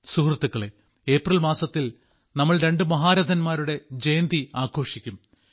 സുഹൃത്തുക്കളേ ഏപ്രിൽ മാസത്തിൽ നമ്മൾ രണ്ടു മഹാരഥന്മാരുടെ ജയന്തി ആഘോഷിക്കും